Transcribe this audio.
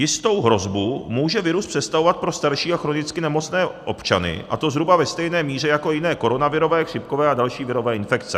Jistou hrozbu může virus představovat pro starší a chronicky nemocné občany, a to zhruba ve stejné míře jako jiné koronavirové, chřipkové a další virové infekce.